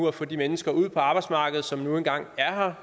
at få de mennesker ud på arbejdsmarkedet som nu engang er